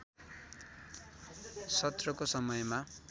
सत्रको समयमा